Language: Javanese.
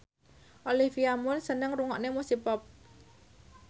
Olivia Munn seneng ngrungokne musik pop